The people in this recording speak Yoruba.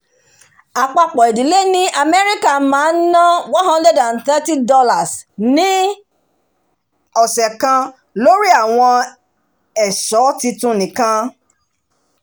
àpapọ̀ ìdílé ni amẹ́ríkà máa ń ná $ one hundred thirty ni ọsẹ kan lórí àwọn èso titun nìkan